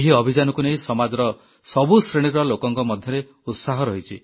ଏହି ଅଭିଯାନକୁ ନେଇ ସମାଜର ସବୁ ଶ୍ରେଣୀର ଲୋକଙ୍କ ମଧ୍ୟରେ ଉତ୍ସାହ ରହିଛି